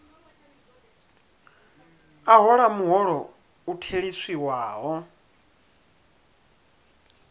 a hola muholo u theliswaho